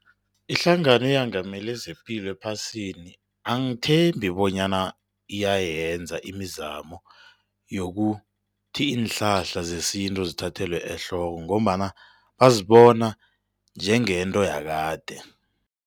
Ihlangano eyengamele zepilo ephasini angithembi bonyana iyayenza imizamo yokuthi iinhlahla zesintu zithathelwe ehloko ngombana bazibona njengento yakade.